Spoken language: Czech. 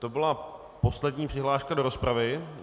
To byla poslední přihláška do rozpravy.